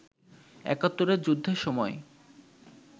একাত্তরের যুদ্ধের সময়